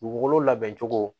Dugukolo labɛncogo